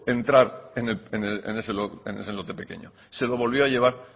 entrar en ese lote pequeño se lo volvió a llevar